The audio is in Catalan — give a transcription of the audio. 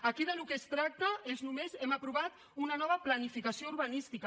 aquí del que es tracta és només hem aprovat una nova planificació urbanística